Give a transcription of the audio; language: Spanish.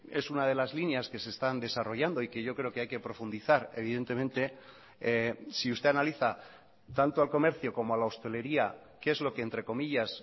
es una de las líneas que se están desarrollando y que yo creo que hay que profundizar evidentemente si usted analiza tanto al comercio como a la hosteleria qué es lo que entre comillas